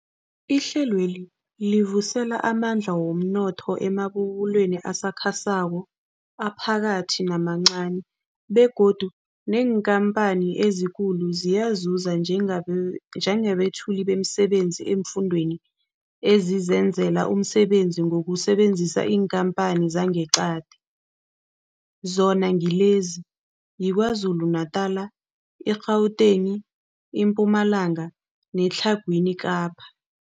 Ihlelweli livuselela amandla womnotho emabubulweni asakhasako, aphakathi namancani begodu neenkhamphani ezikulu ziyazuza njengabe njengabethuli bemisebenzi eemfundeni ezizenzela umsebenzi ngokusebenzisa iinkhamphani zangeqadi, zona ngilezi, yiKwaZulu-Natala, i-Gauteng, iMpumalanga neTlhagwini Kapa.